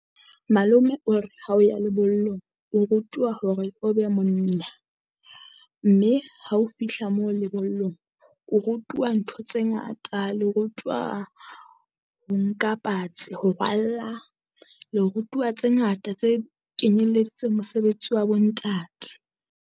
Malome o re ha o ya lebollong, o rutuwa hore o be monna. Mme ha o fihla moo lebollong o rutuwa ntho tse ngata le rutuwa ho nka patsi. Ho rwalla le rutuwa tse ngata tse kenyeleditseng mosebetsi wa bo ntate.